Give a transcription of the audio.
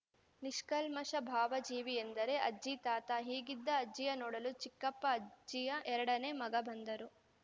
ನಿಷ್ಕಲ್ಮಷ ಭಾವಜೀವಿ ಎಂದರೆ ಅಜ್ಜಿತಾತ ಹೀಗಿದ್ದ ಅಜ್ಜಿಯ ನೋಡಲು ಚಿಕ್ಕಪ್ಪಅಜ್ಜಿಯ ಎರಡನೇ ಮಗ ಬಂದರು